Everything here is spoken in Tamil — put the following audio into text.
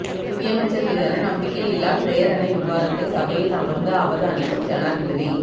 நிதியமைச்சர் மீதான நம்பிக்கையில்லாப் பிரேரணை விவாதத்தை சபையில் அமர்ந்து அவதானிக்கும் ஜனாதிபதி